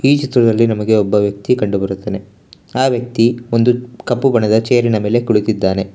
ಈ ಚಿತ್ರದಲ್ಲಿ ನಮಗೆ ಒಬ್ಬ ವ್ಯಕ್ತಿ ಕಂಡು ಬರುತ್ತನೆ ಆ ವ್ಯಕ್ತಿ ಒಂದು ಕಪ್ಪು ಬಣ್ಣದ ಚೇರ್ ಇನ ಮೇಲೆ ಕುಳಿತಿದ್ದಾನೆ.